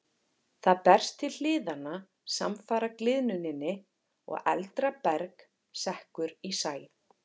Það berst til hliðanna samfara gliðnuninni og eldra berg sekkur í sæ.